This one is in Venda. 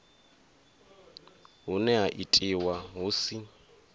hune ha itiwa hu si